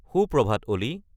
সুপ্ৰভাত অ'লি